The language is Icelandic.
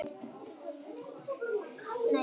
Ég á líka svo góða að.